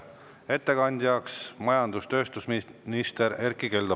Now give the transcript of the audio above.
Ettekandja on majandus‑ ja tööstusminister Erkki Keldo.